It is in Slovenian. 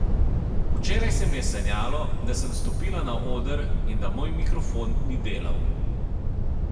Včeraj se mi je sanjalo, da sem stopila na oder in da moj mikrofon ni delal.